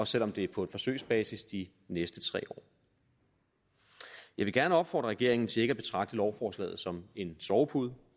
selv om det er på forsøgsbasis de næste tre år jeg vil gerne opfordre regeringen til ikke at betragte lovforslaget som en sovepude